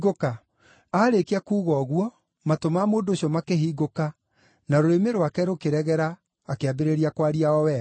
Aarĩkia kuuga ũguo matũ ma mũndũ ũcio makĩhingũka na rũrĩmĩ rwake rũkĩregera akĩambĩrĩria kwaria o wega.